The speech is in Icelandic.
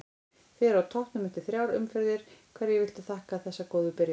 Þið eruð á toppnum eftir þrjár umferðir, hverju viltu þakka þessa góðu byrjun?